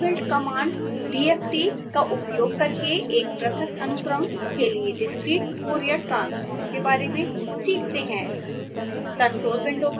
अब हम inbuilt command dft का उपयोग करके एक पृथक अनुक्रम के लिए discrete fourier transform के बारे में सीखते हैं